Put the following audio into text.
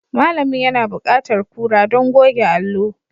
Malamin yana buƙatar kura don goge allo.